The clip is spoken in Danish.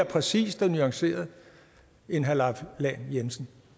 præcist og nuanceret end herre leif lahn jensen